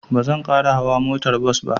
Ba zan ƙara hauwa motar bas ba.